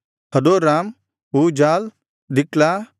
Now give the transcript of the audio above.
ಹದೋರಾಮ್ ಊಜಾಲ್ ದಿಕ್ಲಾ